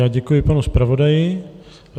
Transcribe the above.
Já děkuji panu zpravodaji.